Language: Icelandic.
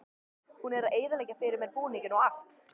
Hún er að eyðileggja fyrir mér búninginn og allt.